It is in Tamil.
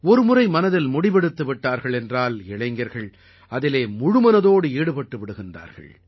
ஒரு முறை மனதில் முடிவெடுத்துவிட்டார்கள் என்றால் இளைஞர்கள் அதிலே முழுமனதோடு ஈடுபட்டுவிடுகிறார்கள்